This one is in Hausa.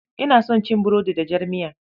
Ina son cin burodi da jar miya.